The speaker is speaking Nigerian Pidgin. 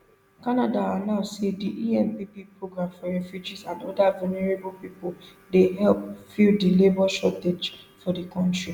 canada announce say di empp program for refugees and oda vulnerable pipo dey help fill di labour shortage for di kontri